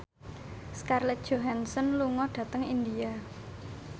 Scarlett Johansson lunga dhateng India